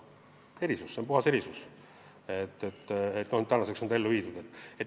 Tegu on puhta erisusega, mis nüüdseks on ellu viidud.